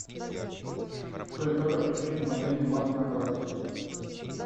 джой как отключить мобильный банк на карте